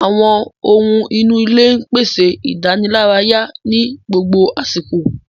Àwọn ohun inú ilé ń pèsè ìdánilárayá ní gbogbo àsìkò